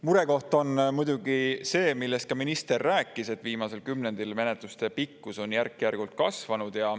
Murekoht on muidugi see, millest ka minister rääkis, et viimasel kümnendil menetluste pikkus on järk-järgult kasvanud.